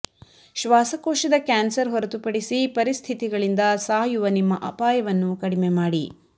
ಶ್ವಾಸಕೋಶದ ಕ್ಯಾನ್ಸರ್ ಹೊರತುಪಡಿಸಿ ಪರಿಸ್ಥಿತಿಗಳಿಂದ ಸಾಯುವ ನಿಮ್ಮ ಅಪಾಯವನ್ನು ಕಡಿಮೆ ಮಾಡಿ